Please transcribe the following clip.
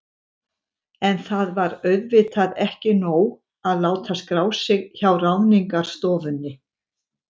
En það var auðvitað ekki nóg að láta skrá sig hjá Ráðningarstofunni.